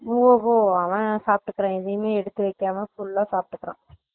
ஓ ஹோ அவன் சாப்டுக்குறான் எதையுமே எடுத்து வைக்காம full ஆ சாப்டுக்குறான்